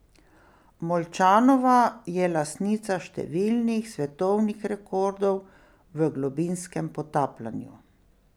Molčanova je lastnica številnih svetovnih rekordov v globinskem potapljanju.